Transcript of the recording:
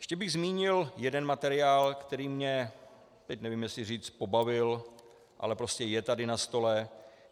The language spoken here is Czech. Ještě bych zmínil jeden materiál, který mě, teď nevím, jestli říct pobavil, ale prostě je tady na stole.